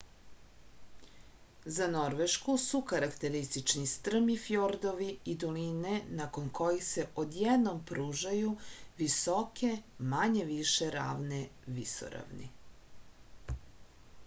za norvešku su karakteristični strmi fjordovi i doline nakon kojih se odjednom pružaju visoke manje-više ravne visoravni